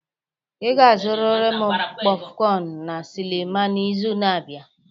Ị ga-azụrịrị m kpofcon na sinima n'izu na-abịa!